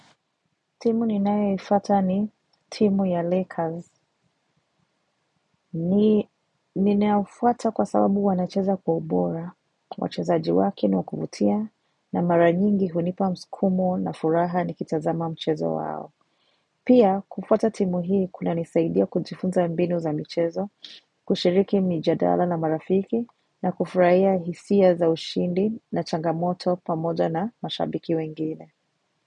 Timu ninayeifuata ni timu ya Lakers. Ninaufuata kwa sababu wanacheza kwa ubora, wachezaji wake ni wakuvutia, na maranyingi hunipa msikumo na furaha ni kitazama mchezo wao. Pia, kufuata timu hii kunanisaidia kujifunza mbinu za mchezo, kushiriki mijadala na marafiki, na kufuraia hisia za ushindi na changamoto pamoja na mashabiki wengine.